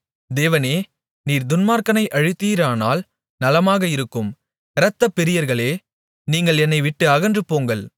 தேவனே நீர் துன்மார்க்கனை அழித்தீரானால் நலமாக இருக்கும் இரத்தப்பிரியர்களே நீங்கள் என்னை விட்டு அகன்றுபோங்கள்